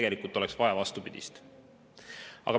Tegelikult aga oleks vaja vastupidist.